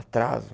Atraso.